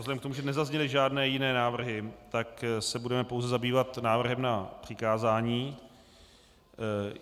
Vzhledem k tomu, že nezazněly žádné jiné návrhy, tak se budeme pouze zabývat návrhem na přikázání.